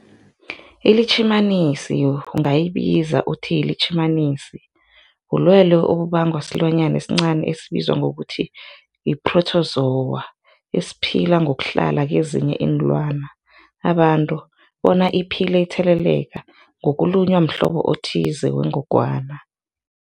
ILitjhimanisi ungayibiza uthiyilitjhimanisi, bulwelwe obubangwa silwanyana esincani esibizwa ngokuthiyi-phrotozowa esiphila ngokuhlala kezinye iinlwana, abantu bona iphile itheleleka ngokulunywa mhlobo othize wengogwana.